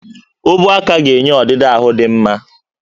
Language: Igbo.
Ubuaka ga-enye ọdịdị ahụ dị mma